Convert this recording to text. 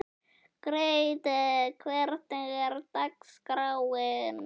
Grethe, hvernig er dagskráin?